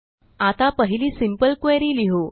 आता पहिली simple query लिहू